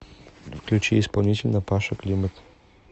включи исполнителя паша климат